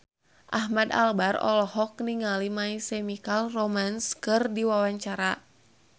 Ahmad Albar olohok ningali My Chemical Romance keur diwawancara